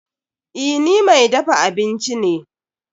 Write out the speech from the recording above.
Eh, ni mai dafa abinci ne.